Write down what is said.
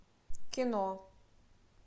кино